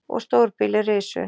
Og stórbýli risu!